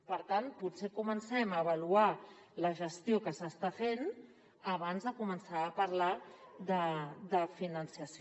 per tant potser que comencem a avaluar la gestió que s’està fent abans de començar a parlar de finançament